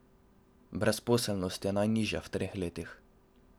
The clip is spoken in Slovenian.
Brezposelnost je najnižja v treh letih.